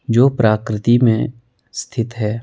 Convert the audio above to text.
जो प्राकृति में स्थित है।